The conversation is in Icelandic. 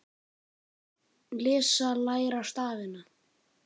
Lesa- læra stafina